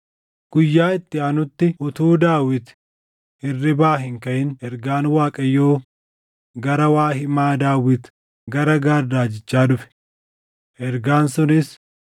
Guyyaa itti aanutti utuu Daawit hirribaa hin kaʼin ergaan Waaqayyoo gara waa himaa Daawit gara Gaad raajichaa dhufe; ergaan sunis,